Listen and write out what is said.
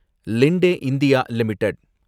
லிண்டே India limited